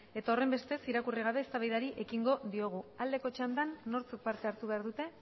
eta horren bestez irakurri gabe eztabaidari ekingo diogu aldeko txandan nortzuk parte hartu behar dute